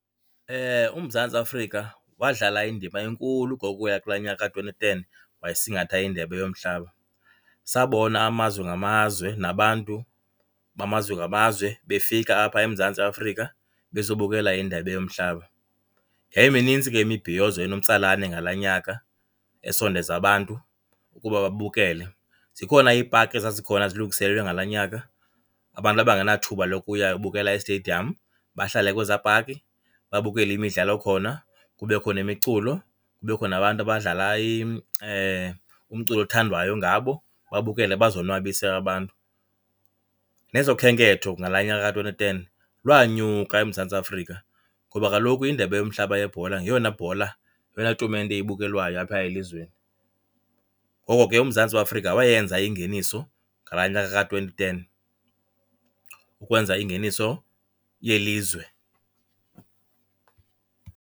UMzantsi Afrika wadlala indima enkulu ngokuya kulaa nyaka ka-twenty ten, wayesingatha indebe yomhlaba. Sabona amazwe ngamazwe nabantu bamazwe ngamazwe befika apha eMzantsi Afrika bezobukela indebe yomhlaba. Yayiminintsi ke imibhiyozo enomtsalane ke ngalaa nyaka esondeza abantu ukuba babukele. Zikhona iipaki ezazikhona zilungiselelwe ngalaa nyaka, abantu abangenathuba lokuya yobukela estediyam bahlale kwezaa paki babukele imidlalo khona. Kubekho nemiculo, kubekho nabantu abadlala umculo othandwayo ngabo, babukele bazonwabise abantu. Nezokhenketho ngalaa nyaka ka-twenty ten, lwanyuka eMzantsi Afrika ngoba kaloku indebe yomhlaba yebhola ngeyona bhola, yeyona tumente ibukelwayo apha elizweni. Ngoko ke uMzantsi Afrika wayenza ingeniso ngalaa nyaka ka-twenty ten, ukwenza ingeniso yelizwe.